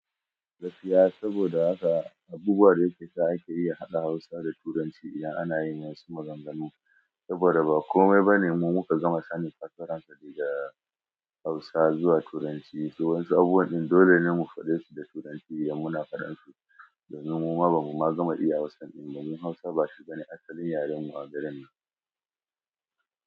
Gaskiya saboda haka abubuwa da yake sa ake iya haɗa Hausa da Turanci idan ana yin wasu maganganu. Saboda ba komai ba ne, mu muka gama sanin fassaran sa daga Hausa zuwa Turanci. Waƴansu abubuwan ɗin dole ne mu faɗe su da Turanci, idan muna faɗan su domin muma bamu ma gama iya Hausan ɗin ba domin Hausa ba shi bane asalin yaren mu a garin nan.